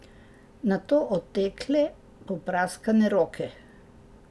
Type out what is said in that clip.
Nato otekle, popraskane roke.